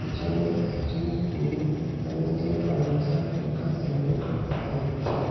পিছনে একটি নিউ ধানেনজাল ফার্নিচার লেখা সাইনবোর্ড দেখা যাচ্ছে।